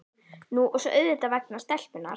Nú og svo auðvitað vegna stelpunnar.